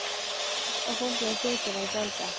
Hvers á fólkið á götunni að gjalda?